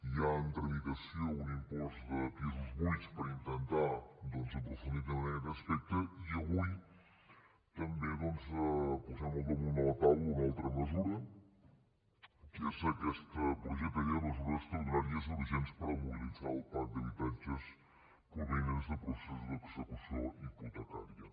hi ha en tramitació un impost de pisos buits per intentar doncs aprofundir també en aquest aspecte i avui també doncs posem al damunt de la taula una altra mesura que és aquest projecte de llei de mesures extraordinàries i urgents per mobilitzar el parc d’habitatges provinents de processos d’execució hipotecària